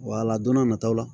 Wala don n'a nataw la